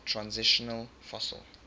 transitional fossil